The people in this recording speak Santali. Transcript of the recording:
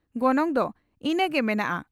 ᱜᱚᱱᱚᱝ ᱫᱚ ᱤᱱᱟᱹᱝ ᱜᱮ ᱢᱮᱱᱟᱜᱼᱟ ᱾